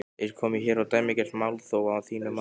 Er komið hér á dæmigert málþóf að þínu mati?